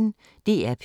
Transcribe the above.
DR P1